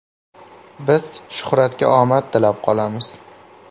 Biz Shuhratga omad tilab qolamiz!